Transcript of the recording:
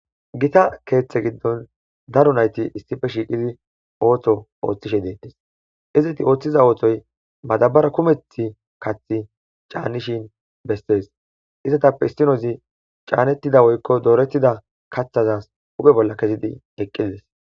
Gita keeththe giddon daro nayti issife shiiqizi ootho ooththishe deettes izeti ooththiza ootoy madabara kumeth kaththi caannishin bestees izatappe issinoozi caanettida woykko doorettida kathazas uge bolla kezidi eqqides.